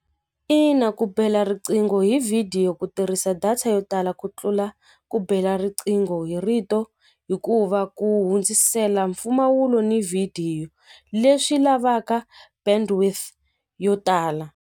Ina ku bela riqingho hi vhidiyo ku tirhisa data yo tala ku tlula ku bela riqingho hi rito hikuva ku hundzisela mpfumawulo ni vhidiyo leswi lavaka bandwidth yo tala.